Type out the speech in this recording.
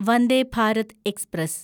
Vande Bharat express